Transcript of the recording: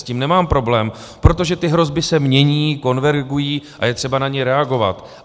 S tím nemám problém, protože ty hrozby se mění, konvergují a je třeba na ně reagovat.